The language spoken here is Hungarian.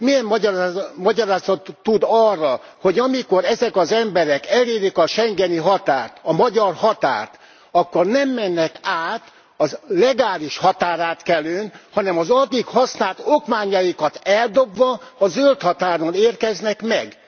Milyen magyarázatot tud arra, hogy amikor ezek az emberek elérik a schengeni határt, a magyar határt, akkor nem mennek át a legális határátkelőn, hanem az addig használt okmányaikat eldobva, a zöldhatáron érkeznek meg.